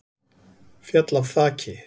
Féll af þaki